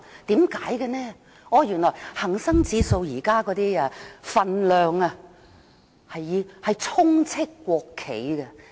原來現在恒生指數成分股充斥國企股份。